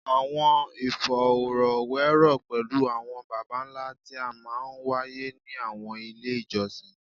Awọn ifọrọwerọ pẹlu awọn baba nla ti a maa n waye ni awọn ile ijọsin